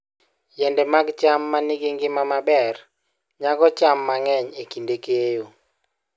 Yiende mag cham ma nigi ngima maber nyago cham mang'eny e kinde keyo.